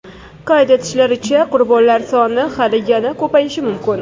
Qayd etishlaricha, qurbonlar soni hali yana ko‘payishi mumkin.